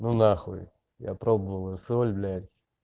ну нахуй я пробовал эту соль блять